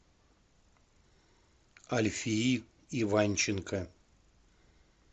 альфии иванченко